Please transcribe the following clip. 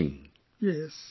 It is very touching